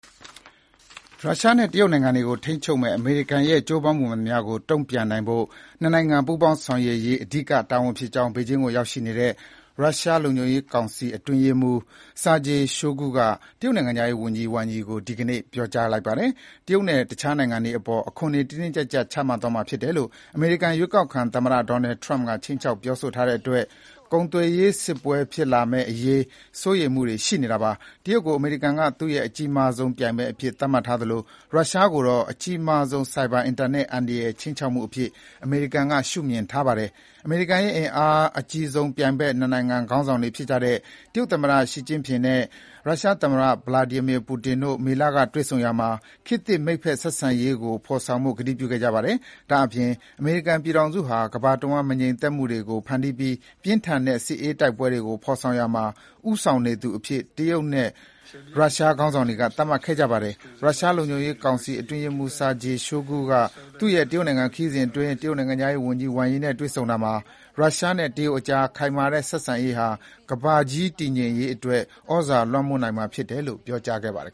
ရုရှားနဲ့တရုတ်နိုင်ငံတွေကိုထိန်းချုပ်မယ့် အမေရိကန်ရဲ့ ကြိုးပမ်းမှုမှန်သမျှကို တန်ပြန်နိုင်ဖို့ နှစ်နိုင်ငံ ပူးပေါင်းဆောင်ရွက်ရေး အဓိကတာ၀န်ဖြစ်ကြောင်း ဘေဂျင်းကိုရောက်နေတဲ့ ရုရှားလုံခြုံရေးကောင်စီ အတွင်းရေးမှူး Sergei Shoigu (ဆာဂျီ ရှိုဂူ) က တရုတ်နိုင်ငံခြားရေး၀န်ကြီး Wang Yi ကို ဒီကနေ့ ပြောကြားခဲ့ပါတယ်။ တရုတ်နဲ့အခြားနိုင်ငံတွေအပေါ် အခွန်တွေ တင်းတင်းကြပ်ကြပ် ချမှတ်သွားမှာဖြစ်တယ်လို့ အမေရိကန် ရွေးကောက်ခံသမ္မတ Donald Trump ခြိမ်းခြောက်ပြောဆိုထားတဲ့အတွက် ကုန်သွယ်ရေးစစ်ပွဲတွေ ဖြစ်လာမယ့်အရေး စိုးရိမ်မှုတွေရှိနေကြတာပါ။ တရုတ်ကို အမေရိကန်က သူ့ရဲ့ အကြီးမားဆုံးပြိုင်ဘက် အဖြစ် သတ်မှတ်ထားသလို ရုရှားကိုတော့အကြီးမားဆုံးဆိုက်ဘာအင်တာနက် အန္တရာယ်ခြိမ်းခြောက်မှု အဖြစ် အမေရိကန်က ရှုမြင်ထားပါတယ်။ အမေရိကန်ရဲ့ အင်အားအကြီးဆုံး ပြိုင်ဘက်နှစ်နိုင်ငံခေါင်းဆောင်တွေဖြစ်တဲ့ တရုတ်သမ္မတ Xi Jinping နဲ့ ရုရှားသမ္မတPutin တို့ မေလကတွေ့ဆုံရာမှာ ခေတ်သစ် မိတ်ဖက်ဆက်ဆံရေးဖေါ်ဆောင်ဖို့ ကတိပြု ခဲ့ကြတာပါ။ ဒါအပြင် အမေရိကန်ပြည်ထောင်စုဟာ ကမ္ဘာတဝှမ်း မငြိမ်မသက်မှုတွေကို ဖန်တီးပြီး ပြင်းထန်တဲ့ စစ်အေးတိုက်ပွဲတွေကို ဖေါ်ဆောင်ရာမှာ ဦးဆောင်နေသူအဖြစ် တရုတ်နဲ့ ရုရှား ခေါင်းဆောင်တွေက သတ်မှတ်ခဲ့ကြပါတယ်။ ရုရှားလုံခြုံရေးကောင်စီအတွင်းရေးမှူး Sergei Shoigu (ဆာဂျီ ရှိုဂူ) ကသူ့ရဲ့ တရုတ်နိုင်ငံခရီးစဥ်အတွင်း တရုတ်နိုင်ငံခြားရေး၀န်ကြီး Wang Yi နဲ့တွေ့ဆုံရာမှာ ရုရှားနဲ့တရုတ်ကြား ခိုင်မာတဲ့ဆက်ဆံရေးဟာ ကမ္ဘာကြီး တည်ငြိမ်ရေးအတွက် သြဇာလွှမ်းမိုးနိုင်မှာဖြစ်တယ်လို့ ပြောကြားခဲ့ပါတယ်